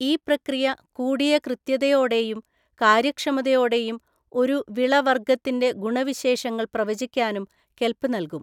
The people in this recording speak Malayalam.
ഈ പ്രക്രിയ കൂടിയ കൃത്യതയോടെയും കാര്യക്ഷമതയോടെയും ഒരു വിളവർഗ്ഗത്തിൻ്റെ ഗുണവിശേഷങ്ങൾ പ്രവചിക്കുവാനും കെൽപ് നൽകും.